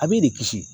A b'i de kisi